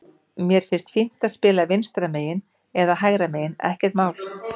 Mér finnst fínt að spila vinstra megin eða hægra megin, ekkert mál.